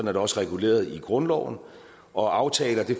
er det også reguleret i grundloven og at aftaler